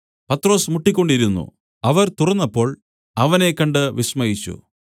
പത്രൊസ് മുട്ടിക്കൊണ്ടിരുന്നു അവർ തുറന്നപ്പോൾ അവനെ കണ്ട് വിസ്മയിച്ചു